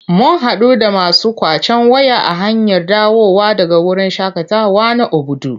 Mun haɗu da masu ƙwacen waya a hanyar dawowa daga wurin shaƙatawa na Obudu.